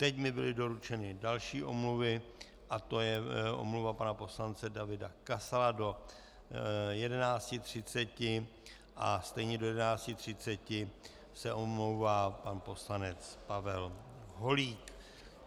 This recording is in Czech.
Teď mi byly doručeny další omluvy a to je omluva pana poslance Davida Kasala do 11.30 a stejně do 11.30 se omlouvá pan poslanec Pavel Holík.